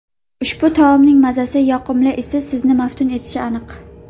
Ushbu taomning mazasi, yoqimli isi sizni maftun etishi aniq.